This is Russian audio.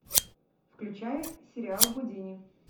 включай сериал гудини